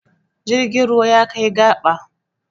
Jirgin ruwa ya kai gaba.